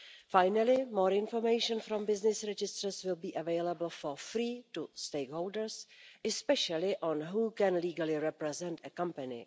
Finally, more information from business registers will be available for free to stakeholders, especially on who can legally represent a company.